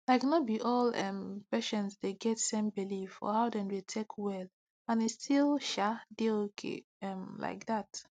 like no be all um patients dey get same belif for how dem dey take well and e still um dey okay um like that